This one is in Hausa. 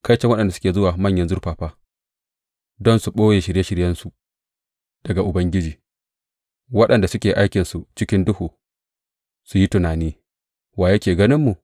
Kaiton waɗanda suke zuwa manyan zurfafa don su ɓoye shirye shiryensu daga Ubangiji, waɗanda suke aikinsu cikin duhu su yi tunani, Wa yake ganinmu?